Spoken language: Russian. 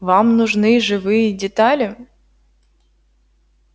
вам нужны живые детали